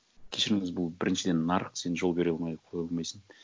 кешіріңіз бұл біріншіден нарық сен жол бере қоймай қоя алмайсың